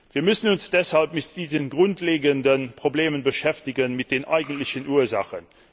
Wir müssen uns deshalb mit diesen grundlegenden Problemen beschäftigen, mit den eigentlichen Ursachen.